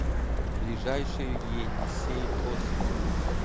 ближайший енисей хостел